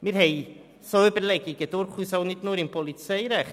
Wir haben solche Überlegungen durchaus nicht nur im Polizeirecht: